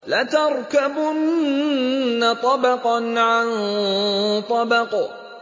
لَتَرْكَبُنَّ طَبَقًا عَن طَبَقٍ